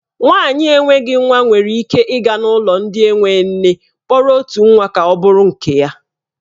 Nwaanyị na enweghị nwa nwere ike ịga n'ụlọ ndị enwe nne kpọrọ otu nwa ka ọ bụrụ nke ya.